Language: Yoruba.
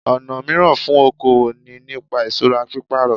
Ọ̀nà míràn fún okoòwò ni nípa ìsura pípàrọ̀